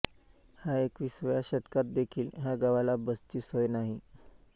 ह्या एकविसाव्या शतकात देखील ह्या गावाला बसची सोय नाही